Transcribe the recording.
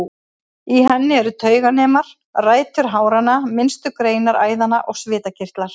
Í henni eru tauganemar, rætur háranna, minnstu greinar æðanna og svitakirtlar.